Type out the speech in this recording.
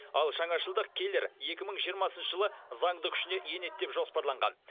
ал жаңашылдық келер екі мың жиырмасыншы жылы заңды күшіне енеді деп жоспарланған